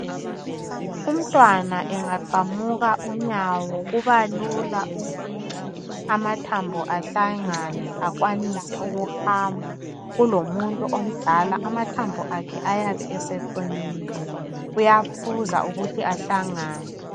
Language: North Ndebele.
Umntwana engaqamuka unyawo kuba lula ukuthi amathambo ahlangane akwanise ukuhamba kulomuntu omdala amathambo akhe ayabe eseqinile kuyaphuza ukuthi ahlangane.